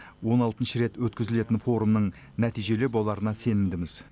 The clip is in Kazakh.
он алтыншы рет өткізілетін форумның нәтижелі боларына сенімдіміз